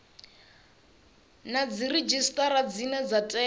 na dziredzhisitara dzine dza tea